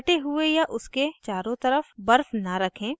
कटे हुए पर या उसके चारों तरफ बर्फ न रखें